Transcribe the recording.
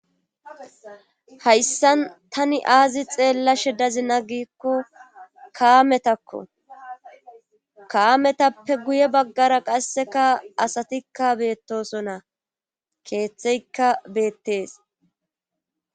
Hayssan tani aazi xeellashe dazina gikko kaametakko kaametappe guye baggara qasseka asatikka beettosona keeththeykka beettees.